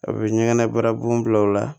A bɛ ɲɛgɛnɛ bara bon bila o la